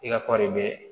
I ka kɔɔri bɛ